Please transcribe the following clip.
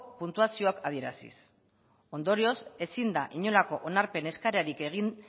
puntuazioak adieraziz ondorioz ezin da inolako onarpen eskaerarik egin